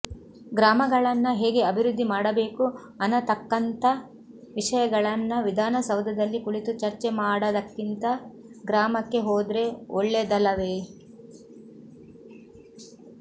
ಗ್ರಾಮಗಳನ್ನ ಹೇಗೆ ಅಭಿವೃದ್ಧಿ ಮಾಡಬೇಕು ಅನತಕ್ಕಂತ ವಿಷಯಗಳನ್ನ ವಿಧಾನಸೌಧದಲ್ಲಿ ಕುಳಿತು ಚರ್ಚೆಮಾಡದಕ್ಕಿಂತ ಗ್ರಾಮಕ್ಕೆ ಹೋದ್ರೆ ಒಳ್ಳೆದಲವೆ